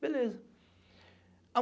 Beleza.